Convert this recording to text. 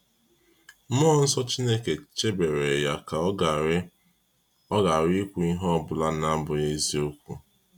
Mmụọ nsọ Chineke chebere ya ka ọ ghara ọ ghara ikwu ihe ọ bụla na-abụghị eziokwu.